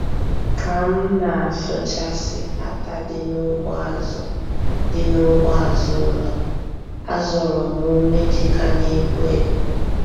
Ka m na-asụchasị átá dị n'ugbo azụ dị n'ugbo azụ ụlọ, a zọrọ m ómé ji ka na-epu epu.